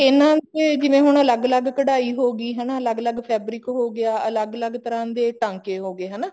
ਇਹਨਾ ਦੇ ਜਿਵੇਂ ਹੁਣ ਅਲੱਗ ਅਲੱਗ ਕਢਾਈ ਹੋਗੀ ਹਨਾ ਅਲੱਗ ਅਲੱਗ fabric ਹੋਗਿਆ ਅਲੱਗ ਅਲੱਗ ਤਰ੍ਹਾਂ ਦੇ ਟਾਂਕੇ ਹੋਗੇ ਹਨਾ